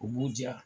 U b'u diya